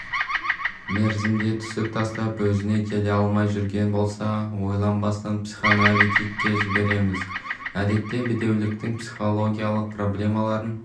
мерзімде түсік тастап өзіне келе алмай жүрген болса ойланбастан психоаналитикке жібереміз әдетте бедеуліктің психологиялық проблемаларын